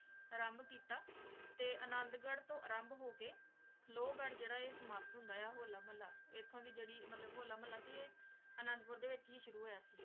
ਅਰਾਮ੍ਬ ਕੀਤਾ ਤੇ ਅਨਾਦ ਗਢ਼ ਤਨ ਅਰਾਮ੍ਬ ਹੋ ਕੇ ਲੋ ਗਢ਼ ਜੇਰਾ ਆਯ ਸਮਾਪਤ ਹੁੰਦਾ ਆਯ ਆ ਹੋਲਾ ਮਹਲਾ ਏਥੋਂ ਦੀ ਜੇਰੀ ਹੋਲਾ ਮਹਲਾ ਸੀ ਆਯ ਅਨਾਦ ਪੁਰ ਡੀ ਵਿਚ ਈ ਸ਼ੁਰੂ ਹੋਯਾ ਸੀ